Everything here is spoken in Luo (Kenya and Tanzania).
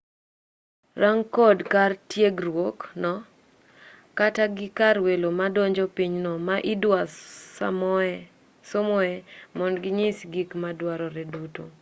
rang kod kar tiegruok-no kata gi kar welo madonjo pinyno ma idwa somoe mond ginyisi gik madwarore duto